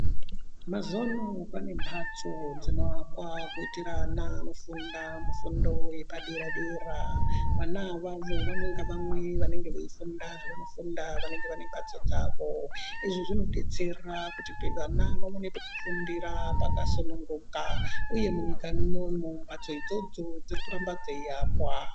Mazuwa ano pane mphatso dzinoakwa kuitira ana anofunda mufundo yepadera-dera vana avavovamwe ngavamwe vanenge veifunda zvavanofunda vanenge vane mphatso dzavo izvi zvinodetsera kuti vana vawane pekufundira pakasununguka uye munyika munomu mphatso idzodzo dziri kuramba dzeiakwa.